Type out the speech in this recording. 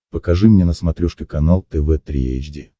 покажи мне на смотрешке канал тв три эйч ди